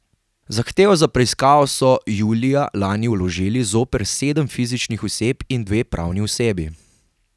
Zahtevo za preiskavo so julija lani vložili zoper sedem fizičnih oseb in dve pravni osebi.